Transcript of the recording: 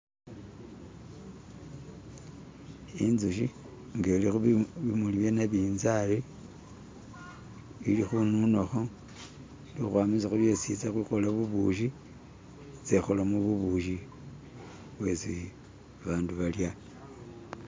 Inzuki nga iliko bimuli byanabinzali ilikununako ilikwamisako byesi izakukolamu bubushi ize ikolemu bubushi bwesi abantu balya.